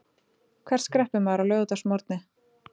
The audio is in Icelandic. Hvert skreppur maður á laugardagsmorgni?